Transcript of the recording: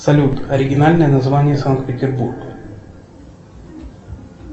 салют оригинальное название санкт петербург